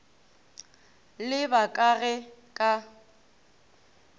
le ba ka ge ka